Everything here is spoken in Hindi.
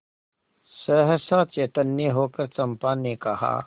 सहसा चैतन्य होकर चंपा ने कहा